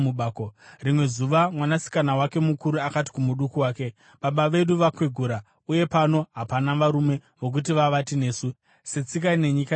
Rimwe zuva mwanasikana wake mukuru akati kumuduku wake, “Baba vedu vakwegura, uye pano hapana varume vokuti vavate nesu, setsika yenyika yose.